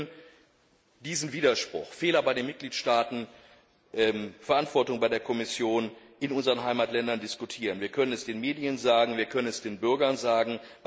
Wir können diesen Widerspruch Fehler bei den Mitgliedstaaten, Verantwortung bei der Kommission in unseren Heimatländern diskutieren, wir können es den Medien sagen, wir können es den Bürgern sagen.